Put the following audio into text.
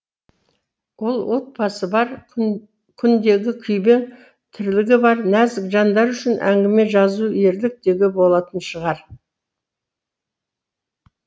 ал отбасы бар күндегі күйбең тірлігі бар нәзік жандар үшін әңгіме жазу ерлік деуге болатын шығар